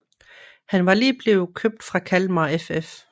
Han var lige blevet købt fra Kalmar FF